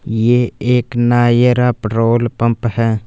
ये एक Nayara petrol pump है।